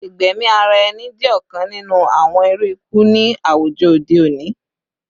Igbẹmi ara ẹni jẹ ọkan ninu awọn iru iku ni awujọ ode oni